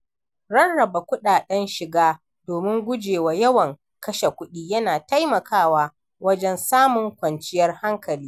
Rarraba kuɗaɗen shiga domin gujewa yawan kashe kudi yana taimakawa wajen samun kwanciyar hankali.